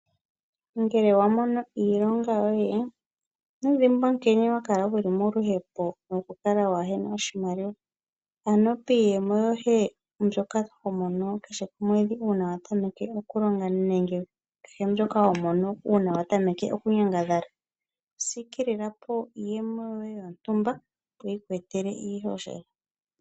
Ngele wa mono iilonga yoye ino dhimbwa nkene wa kala wuli moluhepo noku kala wana oshimaliwa, piiyemo yoye mbyoka to mono kehe omwedhi uuna wa tameke okulonga nenge ayihe mbyoka ho mono uuna wa tameke okunyangadhala sikilila po iiyemo yontumba opo yi ku kwathele.